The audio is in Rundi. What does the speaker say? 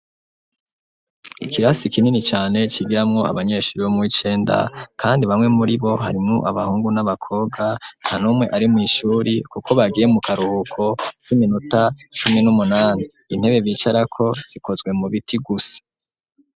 Ikirasi kinini cane cigirimwo abanyeshuri bo muw'icenda ,kandi bamwe muri bo harimwo abahungu n'abakobwa, nta numwe ari mw'ishuri kuko bagiye mu karuhuko k'iminota cumi n'umunani, intebe bicarako zikozwe mu biti gusa.